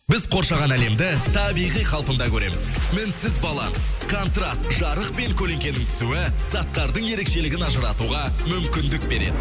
біз қоршаған әлемді табиғи қалпында көреміз мінсіз баланс контраст жарық пен көлеңкенің түсуі заттардың ерекшелігін ажыратуға мүмкіндік береді